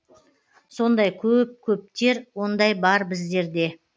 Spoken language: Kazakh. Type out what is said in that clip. сондай көп көптер ондай бар біздерде